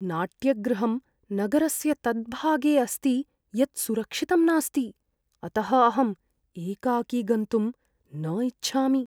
नाट्यगृहं नगरस्य तद्भागे अस्ति यत् सुरक्षितं नास्ति, अतः अहं एकाकी गन्तुम् न इच्छामि।